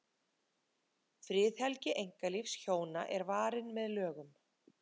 friðhelgi einkalífs hjóna er varin með lögum